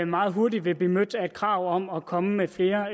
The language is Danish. meget hurtigt vil blive mødt af et krav om at komme med flere